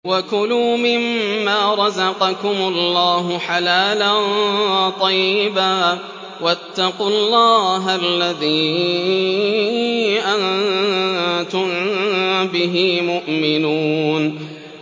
وَكُلُوا مِمَّا رَزَقَكُمُ اللَّهُ حَلَالًا طَيِّبًا ۚ وَاتَّقُوا اللَّهَ الَّذِي أَنتُم بِهِ مُؤْمِنُونَ